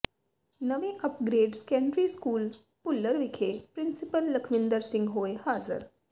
ਨਵੇਂ upgrade secondary school Bhullar ਵਿਖੇ principal Lakhwinder Singh ਹੋਏ ਹਾਜਰ